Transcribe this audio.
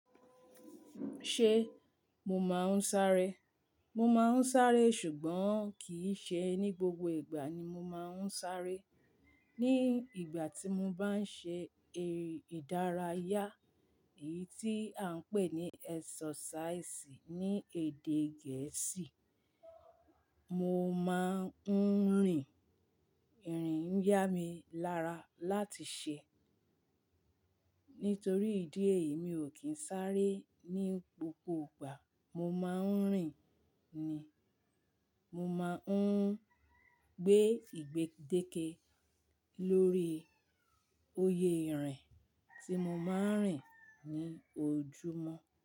Ṣé mo máa ń sáré? Mo máa ń sáré ṣùgbọ́n kì í ṣe ní gbogbo ìgbà ni mo máa ń sáré. Ní ìgbà tí mo bá ń ṣe erí ìdárayá, èyí tí à ń pè ní exercise ní èdè Gẹ̀ẹ́sì, mo máa ń rìn. Irin yá mi lára láti ṣe. Nítorí ìdí èyí, mi ò kín sáré ní gbogbo ìgbà. Mo máa ń rìn ni. Mo máa ń gbé ìgbédeke lórí oyè ìrìn tí mo máa ń rìn ní ojúmọ́